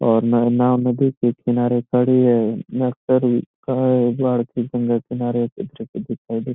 और ना नाव नदी के किनारे पड़ी है लकड़ी का --